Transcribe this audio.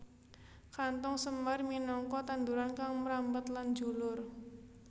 Kanthong semar minangka tanduran kang mrambat lan njulur